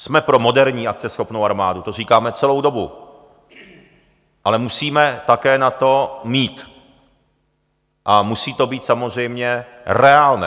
Jsme pro moderní, akceschopnou armádu, to říkáme celou dobu, ale musíme také na to mít a musí to být samozřejmě reálné.